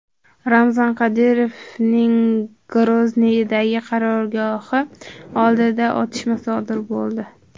Ramzan Qodirovning Grozniydagi qarorgohi oldida otishma sodir bo‘ldi.